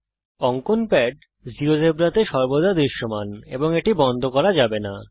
অঙ্কন প্যাড জীয়োজেব্রাতে সর্বদা দৃশ্যমান এবং এটি বন্ধ করা যাবে না